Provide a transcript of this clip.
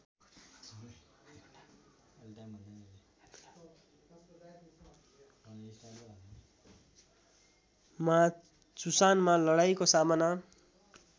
मा चुसानमा लडाईँँको सामना